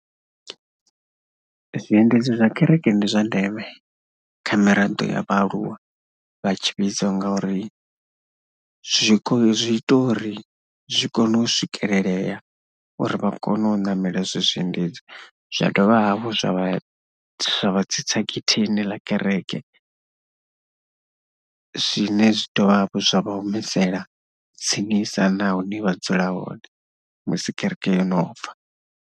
Zwiendedzi zwa kerekeni ndi zwa ndeme kha miraḓo ya vhaaluwa vha tshivhidzo ngauri zwi kho, zwi ita uri zwi kone u swikelelea uri vha kone u ṋamela izwo zwiendedzi. Zwa dovha hafhu zwa vha, zwa vha tsitsa getheni ḽa kereke, zwine zwi dovha hafhu zwa vha humisela tsinisa na hune vha dzula hone musi kereke yo no bva.